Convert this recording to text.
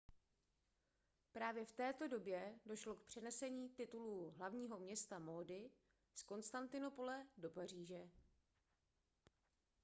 právě v této době došlo k přenesení titulu hlavního města módy z konstantinopole do paříže